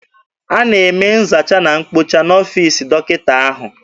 A na-eme nzacha na mkpocha n'ọfiisi dọkịta ahụ.